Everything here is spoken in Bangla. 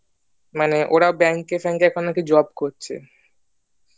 মানে ওরা bank ফাকে নাকি এখন job করছে